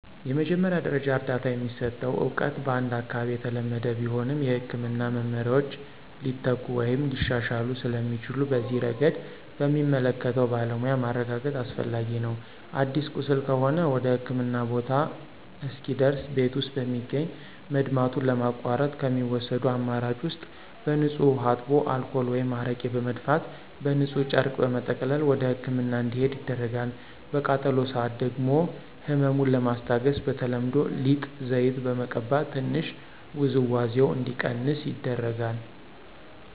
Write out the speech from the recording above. የመጀመሪያ ደረጃ እርዳታ የሚሰጠው እውቀት በአንድ አካባቢ የተለመደ ቢሆንም፣ የሕክምና መመሪያዎች ሊተኩ ወይም ሊሻሻሉ ስለሚችሉ በዚህ ረገድ በሚመለከተው ባለሙያ ማረጋገጥ አስፈላጊ ነው። አዲስ ቁስል ከሆነ ወደህክምና ቦታ እስኪደርስ ቤት ውስጥ በሚገኝ መድማቱን ለማቋረጥ ከሚወሰዱ አማራጭ ውስጥ በንፁህ ውሃ አጥቦ አልኮል ወይም አረቄ በመድፋት በንፁህ ጨርቅ በመጠቅለል ወደህክምና እንዲሄድ ይደረጋል። በቃጠሎ ሰአት ደግሞ ህመሙን ለማስታገስ በተለምዶ ሊጥ፣ ዘይት በመቀባት ትንሽ ውዝዋዜው እንዲቀንስ ይደረጋል።